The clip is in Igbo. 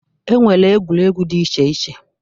E nwere egwuregwu dị iche iche.